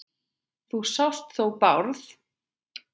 Þú sást þó Bárð?